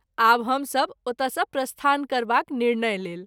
आब हम सभ ओतय सँ प्रस्थान करबाक निर्णय लेल।